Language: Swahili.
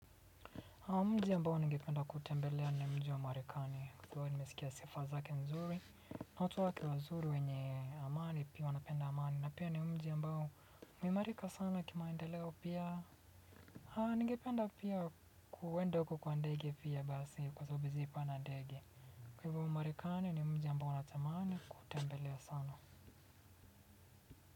Mji ambao ngependa kutembelea ni mji wa marekani ambao nimesikia sifa zake nzuri watu wazuri wenye amani pia wanapenda amani na pia ni mji ambao umeimarika sana kimaendeleo pia ningependa pia kuenda huko kwa ndege pia basi kwa sababu sijawai panda ndege. Kwa hivyo marekani ni mji ambao natamani kutembelea sana.